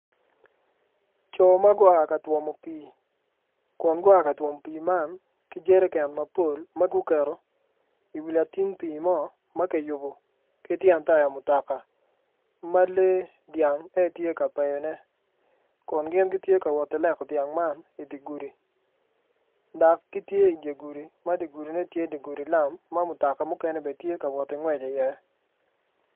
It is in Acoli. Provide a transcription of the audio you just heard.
Co ma gua ka twomo pii kun gua ka twomo pii man ki jereken mapol ma guketo i wi lating pii mo ma kiyubu ki tyen taya mutoka ma lee dyang en aye tye ka peyone kun gin gitye ka woti leko dyang man idi gudi dok gitye idi gudi ma di gudine tye di gudi lam ma mutoka mukene bene tye ka woti ngwec iye